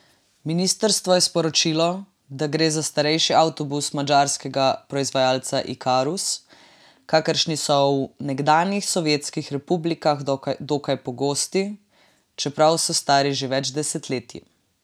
Ministrstvo je sporočilo, da gre za starejši avtobus madžarskega proizvajalca Ikarus, kakršni so v nekdanjih sovjetskih republikah dokaj pogosti, čeprav so stari že več desetletij.